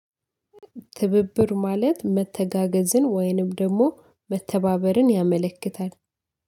ትብብር ማለት መተጋገዝን ወይንም ደግሞ መተባበርን ያመለክታል